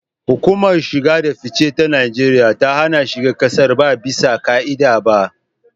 Hukumar shige da fice ta Najeriya ta hana shiga kasar ba ɓisa ka'ida ba.